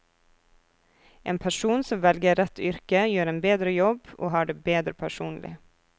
En person som velger rett yrke gjør en bedre jobb, og har det bedre personlig.